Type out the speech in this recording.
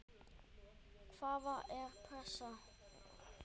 Hvaða er pressa?